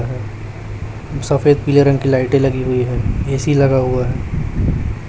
सफेद पीले रंग की लाइटें लगी हुई है ए_सी लगा हुआ है।